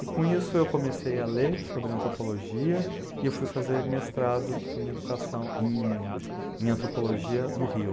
E com isso eu comecei a ler sobre antropologia e eu fui fazer mestrado em antropologia no Rio.